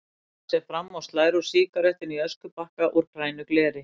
Hallar sér fram og slær úr sígarettunni í öskubakka úr grænu gleri.